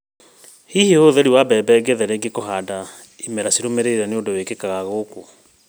Hihi ũhũthĩri wa mbembe ng’ethe rĩngĩ kũhanda imera cirũmĩrĩire nĩ ũndũ wĩkĩkaga gũkũ?